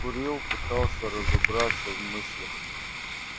закурил пытался разобраться в мыслях